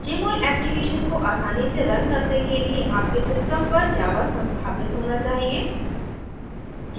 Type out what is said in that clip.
jmol application को आसानी से रन करने के लिए आपके सिस्टम पर java संस्थापित होना चाहिए